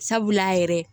Sabula a yɛrɛ